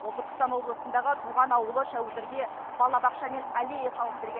ол түркістан облысындағы туған ауылы шәуілдірге балабақша мен алея салып берген